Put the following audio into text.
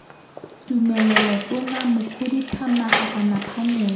tumelelo tona mokhuduthamaga kana phanele